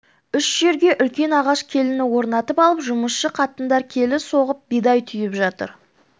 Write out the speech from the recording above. үш жерге үлкен ағаш келіні орнатып алып жұмысшы қатындар келі соғып бидай түйіп жатыр